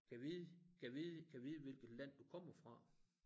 Gad vide gad vide gad vide hvilket land du kommer fra